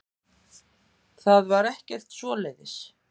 Það var ekkert svoleiðis.